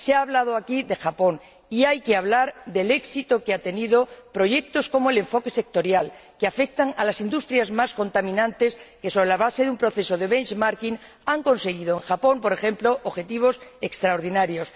Se ha hablado aquí de Japón y hay que hablar del éxito que han tenido proyectos como el enfoque sectorial, que afectan a las industrias más contaminantes y que, sobre la base de un proceso de benchmarking han permitido lograr, en Japón, por ejemplo, objetivos extraordinarios.